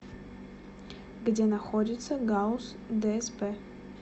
где находится гауз дсп